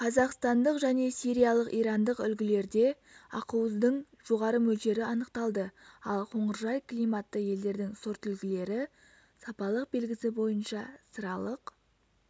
қазақстандық және сириялық ирандық үлгілерде ақуыздың жоғары мөлшері анықталды ал қоңыржай климатты елдердің сортүлгілері сапалық белгісі бойынша сыралық